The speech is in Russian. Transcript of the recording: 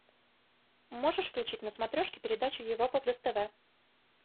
можешь включить на смотрешке передачу европа плюс тв